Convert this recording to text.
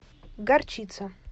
горчица